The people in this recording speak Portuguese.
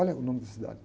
Olha o nome da cidade.